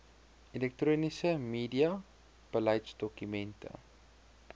elektroniese media beleidsdokumente